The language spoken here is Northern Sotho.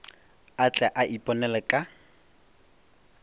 a tle a iponele ka